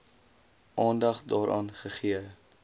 aandag daaraan gegee